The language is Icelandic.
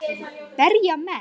Berja menn?